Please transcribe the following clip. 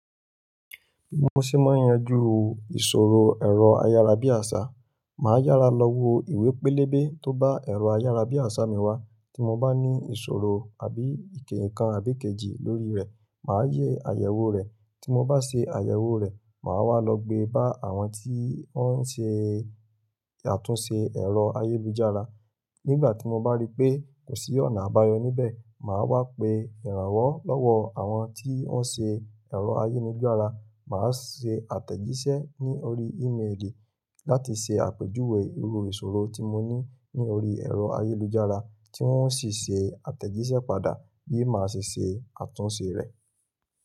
Mo se máa yanjú ìṣòro ẹ̀rọ ayárabíàṣá, màá yára lọ wo ìwé pélébé tó bá ẹ̀rọ ayárabíàṣá mi wá tí mo bá ní ìṣòro àbí èké kan àbí kejì lórí rẹ̀, màá yẹ àyẹ̀wò rẹ̀. Tí mo bá ṣe àyẹ̀wò rẹ̀, màá wá lọ gbé bá àwọn tí wọ́n ń ṣe àtúnṣe ẹ̀rọ ayélujára. Nígbà tí mo bá rí pé kò sí ọ̀nà àbáyọ níbẹ̀, màá wá pe ìrànwọ́ lọ́wọ́ àwọn tí ó ń ṣe ẹ̀rọ ayélujára, màá ṣe àtẹ̀jíṣẹ́ ní orí ímélì láti ṣe àpèjúwe irú ìṣòro tí mo ní ní orí ẹ̀rọ ayélujára tí wọ́n ó sì ṣe àtẹ̀jíṣẹ́ padà bí màá ṣe ṣe àtúnṣe rẹ̀.